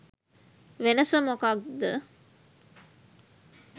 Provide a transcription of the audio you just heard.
වෙනස මොකද්ද?